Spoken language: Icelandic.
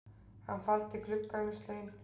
Hann faldi gluggaumslögin